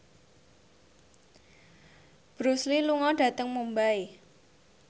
Bruce Lee lunga dhateng Mumbai